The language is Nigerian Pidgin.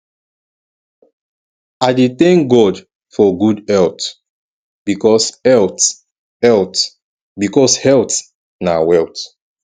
i dey tank god for gud health bikos health health bikos health na wealth